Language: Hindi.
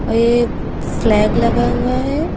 और ये फ्लैग लगा हुआ है।